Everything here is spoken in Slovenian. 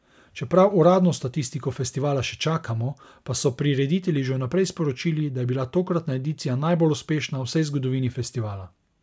Čeprav uradno statistiko festivala še čakamo, pa so prireditelji že vnaprej sporočili, da je bila tokratna edicija najbolj uspešna v vsej zgodovini festivala.